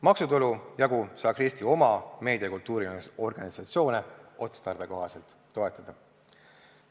Maksutulu jagu saaks Eesti oma meedia- ja kultuuriorganisatsioone otstarbekohaselt toetada.